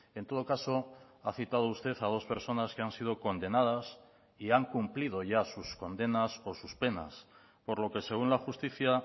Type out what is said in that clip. en todo caso ha citado usted a dos personas que han sido condenadas y han cumplido ya sus condenas o sus penas por lo que según la justicia